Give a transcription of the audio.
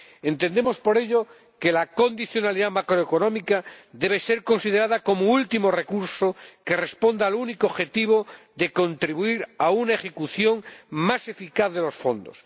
Entendemos, por ello, que la condicionalidad macroeconómica debe ser considerada como último recurso que responda al único objetivo de contribuir a una ejecución más eficaz de los fondos.